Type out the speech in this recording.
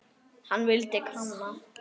Hann vildi kanna.